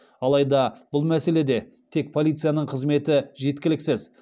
алайда бұл мәселеде тек полицияның қызметі жеткіліксіз